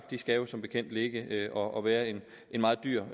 de skal som bekendt ligge og være en meget dyr